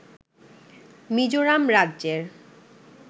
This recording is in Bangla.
মিজোরাম রাজ্যের